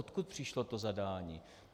Odkud přišlo to zadání?